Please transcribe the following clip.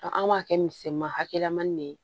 an b'a kɛ misɛman hakɛlaman ne ye